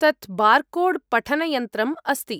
तत् बार्कोड्पठनयन्त्रम् अस्ति।